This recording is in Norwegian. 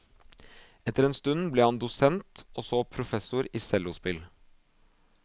Etter en stund ble han dosent, og så professor i cellospill.